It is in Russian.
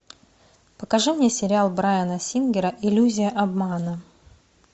покажи мне сериал брайана сингера иллюзия обмана